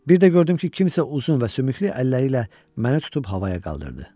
Bir də gördüm ki, kimsə uzun və sümüklü əlləri ilə məni tutub havaya qaldırdı.